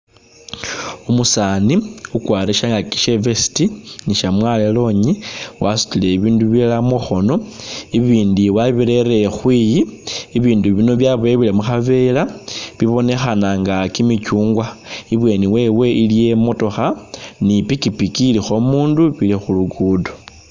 Umusani ukwarile shangaki she i'vest ni shamwalo ilongi wasutile i'bindu bilala mukhono ibindi wabirele khwiyi ibindu bino byaboyewele mukhavela bibonekhananga kimichungwa ibweni wewe iliyo i'motokha ni pikipiki ilikho umundu ili khu lugudo.